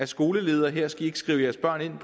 skoleledere her skal i ikke skrive jeres børn ind